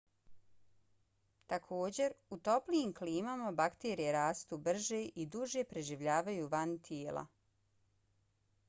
također u toplijim klimama bakterije rastu brže i duže preživljavaju van tijela